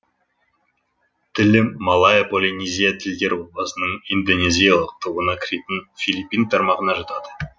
тілі малайя полинезия тілдер отбасынының индонезиялық тобына кіретін филиппин тармағына жатады